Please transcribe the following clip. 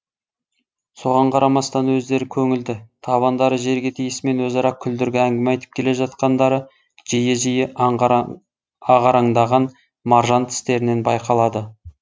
соған қарамастан өздері көңілді табандары жерге тиісімен өзара күлдіргі әңгіме айтып келе жатқандары жиі жиі ағараңдаған маржан тістерінен байқалады